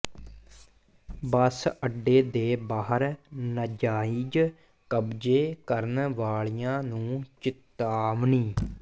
ਬੱਸ ਅੱਡੇ ਦੇ ਬਾਹਰ ਨਾਜਾਇਜ਼ ਕਬਜ਼ੇ ਕਰਨ ਵਾਲਿਆਂ ਨੂੰ ਚਿਤਾਵਨੀ